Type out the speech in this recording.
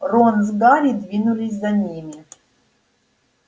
рон с гарри двинулись за ними